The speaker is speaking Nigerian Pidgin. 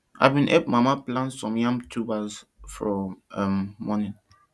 i bin help mama plant some yam tubers for um morning